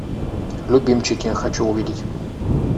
любимчики хочу увидеть